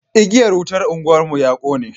igiyar wutan unguwar mu ya kone